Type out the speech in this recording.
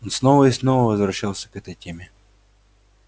он снова и снова возвращался к этой теме